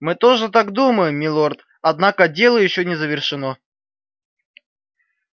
мы тоже так думаем милорд однако дело ещё не завершено